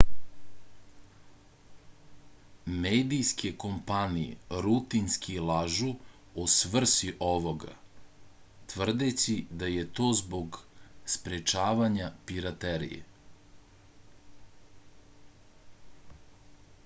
medijske kompanije rutinski lažu o svrsi ovoga tvrdeći da je to zbog sprečavanja piraterije